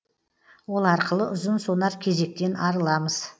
ол арқылы ұзын сонар кезектен арыламыз